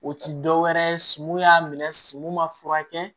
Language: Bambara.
O ti dɔwɛrɛ ye sum y'a minɛ sumu ma furakɛ